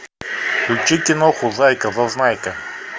включи киноху зайка зазнайка